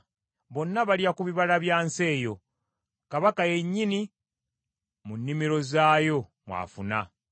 Bonna balya ku bibala bya nsi eyo; kabaka yennyini mu nnimiro zaayo mw’afuna.